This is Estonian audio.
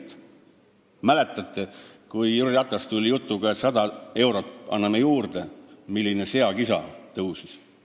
Kas mäletate, et kui Jüri Ratas tuli jutuga, et anname sada eurot, milline seakisa siis tõusis?